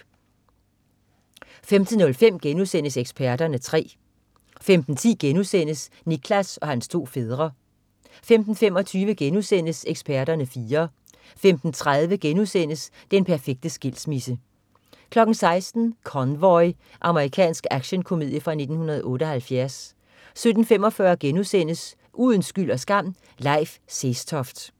15.05 Eksperterne 3* 15.10 Nicklas og hans to fædre* 15.25 Eksperterne 4* 15.30 Den perfekte skilsmisse* 16.00 Convoy. Amerikansk actionkomedie fra 1978 17.45 Uden skyld og skam: Leif Sestoft*